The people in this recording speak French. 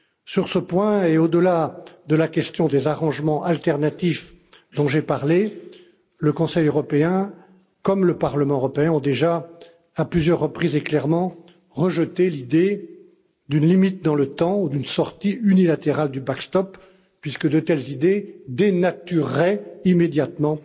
Sur ce point, et au delà de la question des dispositifs alternatifs dont j'ai parlé, le Conseil européen, comme le Parlement européen, ont déjà à plusieurs reprises et clairement rejeté l'idée d'une limite dans le temps ou d'une sortie unilatérale du backstop puisque de telles idées dénatureraient immédiatement